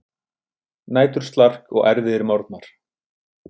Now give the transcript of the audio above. Næturslark og erfiðir morgnar.